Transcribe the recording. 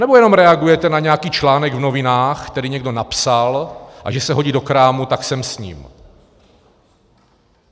Nebo jenom reagujete na nějaký článek v novinách, který někdo napsal, a že se hodí do krámu, tak sem s ním?